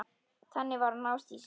Þannig var hún Ásdís.